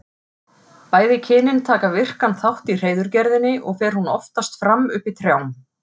Bæði kynin taka virkan þátt í hreiðurgerðinni og fer hún oftast fram uppi í trjám.